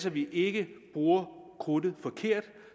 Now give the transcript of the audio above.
at vi ikke bruger krudtet forkert